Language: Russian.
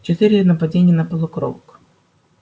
четыре нападения на полукровок